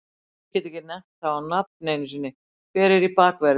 Ég get ekki nefnt það á nafn einu sinni, hver er í bakverði?